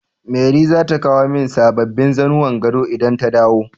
Mary zata kawo min sababbin zannuwan gado idan ta dawo.